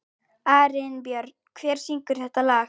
Arinbjörn, hver syngur þetta lag?